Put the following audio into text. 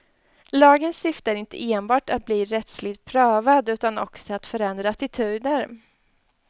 Lagens syfte är inte enbart att bli rättsligt prövad utan också att förändra attityder.